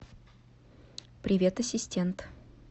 привет ассистент